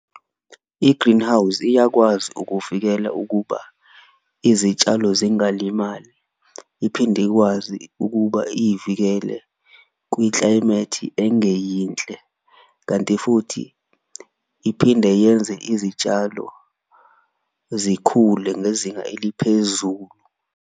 I-greenhouse iyakwazi ukuvikela ukuba izitshalo zingalimali, iphinde ikwazi ukuba iyivikele kwi-climate engeyinhle kanti futhi iphinde yenze izitshalo zikhule ngezinga eliphezulu.